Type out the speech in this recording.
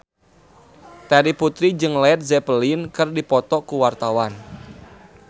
Terry Putri jeung Led Zeppelin keur dipoto ku wartawan